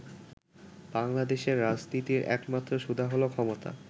বাংলাদেশের রাজনীতির একমাত্র সুধা হলো 'ক্ষমতা'।